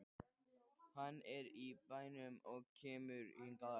Hann er í bænum og kemur hingað á eftir.